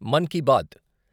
Mann Ki bath.